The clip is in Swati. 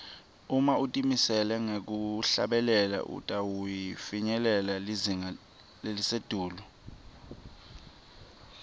uma utimisele ngekuhlabela utawufinyelela lizinga lelisetulu